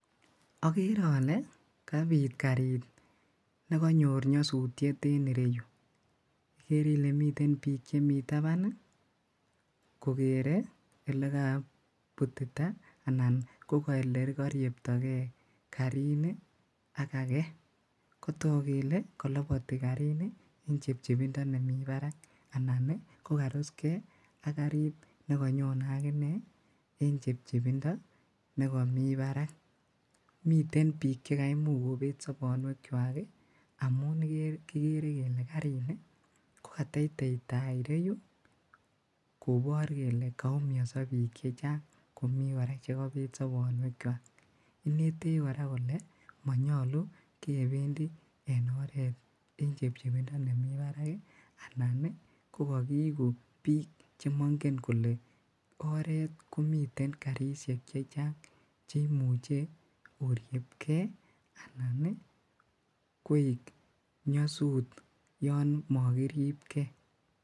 Agere ale kabiit kariit nekanyoor nyasutiet en ireuu igere Ile miten biik che Mii tabaan ii kogere ele kabutitaa ii anan ko ele karieptaa gei gariit ni ak agei koyaak kele kalabatii gariit ni en chepchepindaa nemii baraak anan ii ko karusgei ak gariit ne kanyone aginei ii en chepchepindaa nekamii Barak miten biik che kaimuchh kobeet soboonweek kwaak amuun kigere kele gariit ni ko. Katetei taa ireyuu ii kobaar kole kaumisaa biik chechaang ak kobeek soboonweek kwaak, ineteech kora kole manyoluu kebendii en oret en chepchepindaa nemii baraak anan ko kakieguu biik che mangeen kole oret komiteen garisiek chechaang chekimuchei oriepkei anan ii koek ii koek nyasuut yaan makiriip gei.